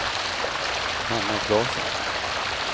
Hanna Klasson